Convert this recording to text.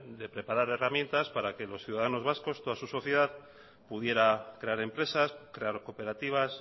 de preparar herramientas para que los ciudadanos vasco toda su sociedad pudiera crear empresas crear cooperativas